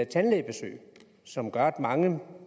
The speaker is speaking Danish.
tandlægebesøg som gør at mange